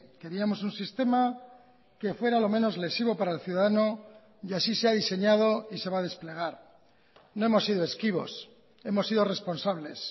queríamos un sistema que fuera lo menos lesivo para el ciudadano y así se ha diseñado y se va a desplegar no hemos sido esquivos hemos sido responsables